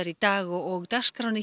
í dag og dagskrá